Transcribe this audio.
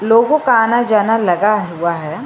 लोगों का आना जाना लगा हुआ है।